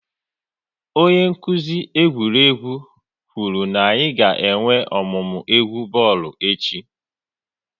Onye nkuzi egwuregwu kwuru na-anyị ga-enwe ọmụmụ egwu bọọlụ echi